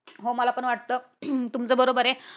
हो मला पण वाटत अह तुमचं बरोबर आहे.